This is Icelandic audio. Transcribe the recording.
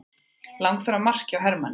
Langþráð mark hjá Hermanni